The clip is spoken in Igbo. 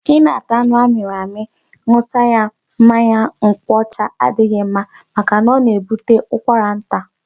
Ị na-ata anụ a mịrị amị ṅụsa ya mmanya nkwọcha adịghị ma maka na'o na-ebute ụkwara nta'.